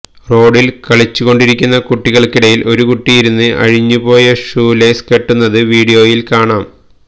റോഡില് കളിച്ചുകൊണ്ടിരിക്കുന്ന കുട്ടികള്ക്കിടയില് ഒരു കുട്ടി ഇരുന്ന് അഴിഞ്ഞു പോയ ഷൂലേസ് കെട്ടുന്നത് വീഡിയോയില് കാണാം